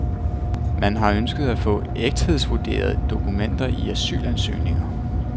Man har ønsket at få ægthedsvurderet dokumenter i asylansøgninger.